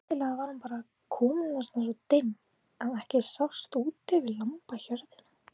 Skyndilega var hún bara komin þarna svo dimm að ekki sást út yfir lambahjörðina.